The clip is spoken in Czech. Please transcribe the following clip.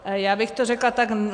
Já bych to řekla tak.